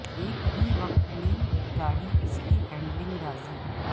ایک ہی وقت میں گاڑی اس کی ہینڈلنگ راضی